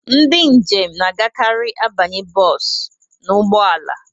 Ndị njem na-agakarị abanye bọsụ n'ụgbọ ala.